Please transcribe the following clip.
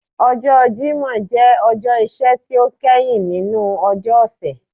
Ọjọ Jimọ jẹ ọjọ iṣẹ ti o kẹhin ninu ọjọ ọsẹ.